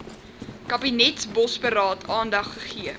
kabinetsbosberaad aandag gegee